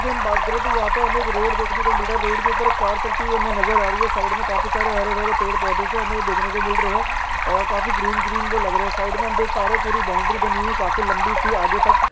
के हम बात करे तो यहा पे हमें एक रोड दिखने को मिल रहा रोड के ऊपर एक कार चलती हुई हमें नजर आ रही है साइड में काफी सारे हरे-भरे पेड़-पौधे से हमें दिखने को मिल रहे है और काफ्फी ग्रीन ग्रीन वो लग रहे साइड में हम देख पा रहे पूरी बॉउंड्री बानी हुयी काफी लम्बी सी आगे तक --